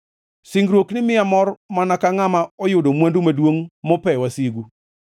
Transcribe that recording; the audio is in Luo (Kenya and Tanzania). Singruokni miya mor, mana ka ngʼama oyudo mwandu maduongʼ mope wasigu.